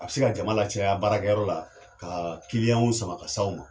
A be se ka jama lacaya baarakɛyɔrɔ la ka kiliyanw sama ka se aw ma